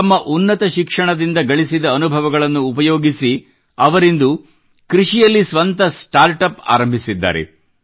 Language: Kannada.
ತಮ್ಮ ಉನ್ನತ ಶಿಕ್ಷಣದಿಂದ ಗಳಿಸಿದ ಅನುಭವಗಳನ್ನು ಉಪಯೋಗಿಸಿ ಅವರಿಂದು ಕೃಷಿಯಲ್ಲಿ ಸ್ವಂತ ಸ್ಟಾರ್ಟ್ ಅಪ್ ಆರಂಭಿಸಿದ್ದಾರೆ